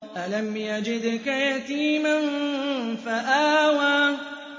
أَلَمْ يَجِدْكَ يَتِيمًا فَآوَىٰ